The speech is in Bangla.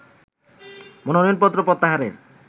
মনোনয়নপত্র প্রত্যাহারের